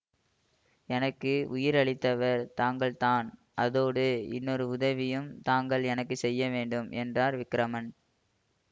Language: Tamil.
எனக்கு உயிர் அளித்தவர் தாங்கள்தான் அதோடு இன்னொரு உதவியும் தாங்கள் எனக்கு செய்ய வேண்டும் என்றான் விக்கிரமன்